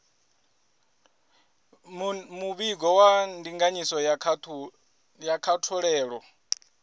muvhigo wa ndinganyiso ya kutholele